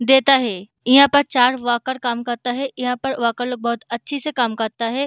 देता है यहाँ पर चार वर्कर काम करता है यहाँ पर वर्कर लोग बहुत अच्छे से काम करता है।